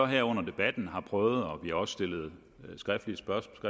her under debatten har prøvet og vi har også stillet skriftlige spørgsmål